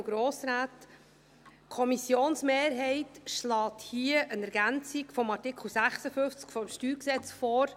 Die Kommissionsmehrheit schlägt eine Ergänzung des Artikels 56 StG vor.